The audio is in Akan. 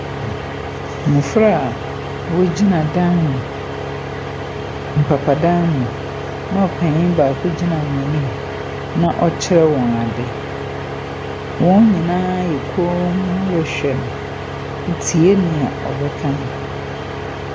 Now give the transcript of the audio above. Mmofra a wogyina dan mu, mpapa dan mu, na opanyin baako gyina wɔn anim, na ɔrekyerɛ wɔn ade. Wɔn nyinaa ayɛ komm rehwɛ no, tie nea ɔbɛka no.